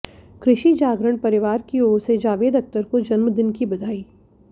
कृषि जागरण परिवार की ओर से जावेद अख़्तर को जन्मदिन की बधाई